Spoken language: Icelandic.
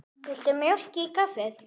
Viltu mjólk í kaffið?